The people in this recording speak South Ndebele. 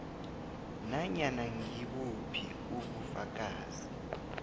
nanyana ngibuphi ubufakazi